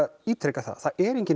ítreka að það er engin